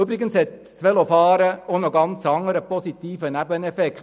Übrigens hat das Velofahren auch noch einen ganz anderen positiven Nebeneffekt.